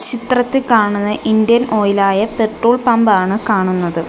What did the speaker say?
ചിത്രത്തിൽ കാണുന്നത് Indian Oil ആയ പെട്രോൾ പമ്പ് ആണ് കാണുന്നത്.